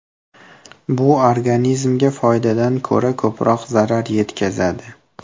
Bu organizmga foydadan ko‘ra ko‘proq zarar yetkazadi.